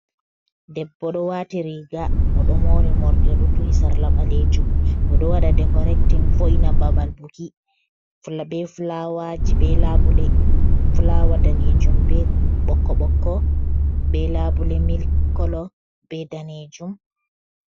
Debbo ɗo wati riga oɗo mori morɗi, oɗo duhi sarla ɓalejum, oɗo waɗa dekorektin vo'ina babal buki be fulawaji be labule. Fulawa danejum be ɓokko-ɓokko be labule milik kolo be danejum.